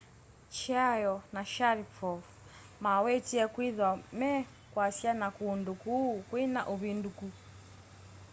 chiao na sharipov mawetie kwĩtha me kũasa na kũndũ kũũ kwĩna ũvĩndũkũ